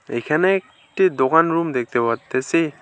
এখানে একটি দোকান রুম দেখতে পারতেসি।